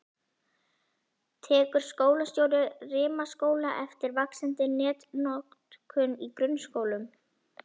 Tekur skólastjóri Rimaskóla eftir vaxandi netnotkun í grunnskólum?